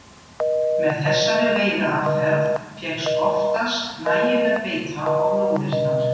Með þessari veiðiaðferð fékkst oftast nægileg beita á lóðirnar.